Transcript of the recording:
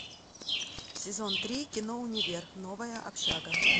сезон три кино универ новая общага